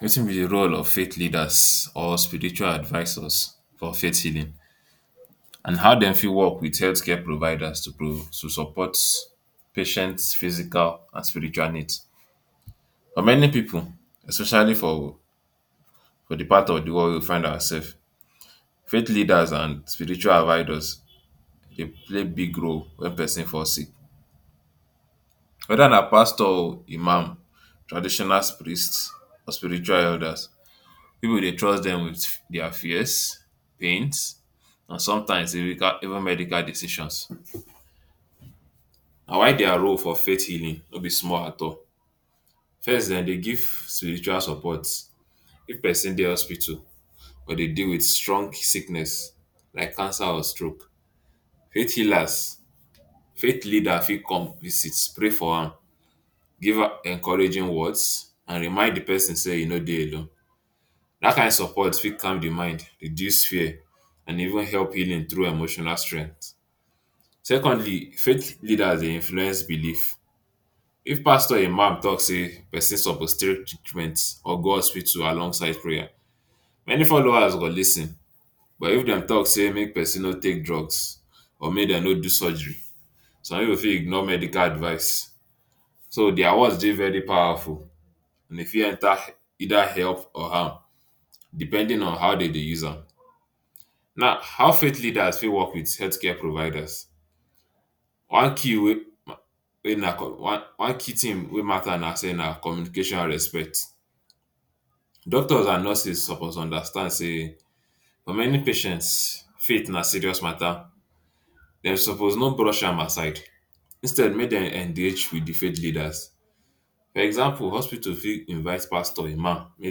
Watin be di role of faith leaders or spiritual advisors for faith healing and how dem fit work wit healthcare providers to pro to support patient’s physical and spiritual need?. For many pipu especially for di part of di world wey we find ourselves, faith leaders and spiritual advisors dey play big role when pesin fall sick. Weda na pastor or imam, traditional priest or spiritual elders, pipu dey trust dem wit dia fears, pains and sometimes even medical even medical decisions. Na why dia role for faith healing no be small at all. First dem dey give spiritual support if pesin dey hospital or de dey wit strong sickness like cancer or stroke faith healers, faith leaders fit come visit, pray for am, give am encouraging words and remind di pesin say e no dey alone. Dat kain support fit calm di mind, reduce fear and even help healing through emotional strength. Secondly, faith leaders dey influence believe, if pastor or imam talk say pesin suppose take treatment or go hospital along side prayer many followers go lis ten but if dem talk say make pesin no take drugs or make dem no do surgery some pipu fit ignore medical advise. So dia words dey very powerful, e fit either help or harm depending on how de dey use am. Now how faith leaders fit work wit healthcare providers? One key wey na one key tin mata say na communication and respect, doctors and nurses suppose understand say for many patients, faith na serious mata, dem suppose no brush am aside, instead make dem engage wit di faith leaders. Example hospital fit invite pastor, imam, make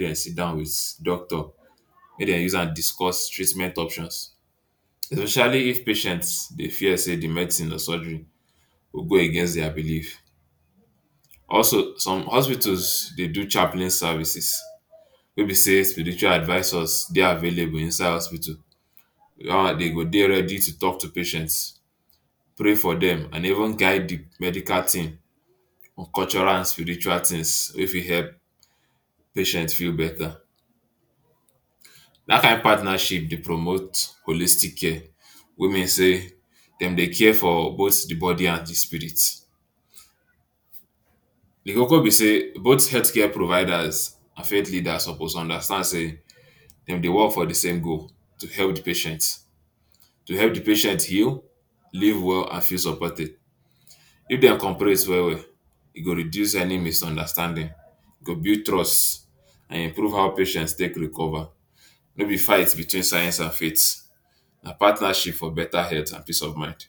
den sidon wit doctor, make dem use am discuss treatment options especially if patient him fear say di medicine or sugery go go against dia believe. Also some hospitals dey do chaplin service wey be say spiritual advisors dey available inside hospital, dat one de go dey ready to talk to patients, pray for dem and even guide di medical team on cultural and spiritual tins wey fit help patients feel beta. Dat kain partnership dey promote holistic care wey mean say, dem dey care for both di body and di spirit. Di koko be say both healthcare providers and faith leaders suppose understand sey dem dey work for di same goal to help patient, to help di patient heal, live well and feel supported. If dem corporate well well e go redue any misunderstanding, e go build trust and improve how patients go take recover, no be fight between science and faith na partnership for beta health and peace of mind.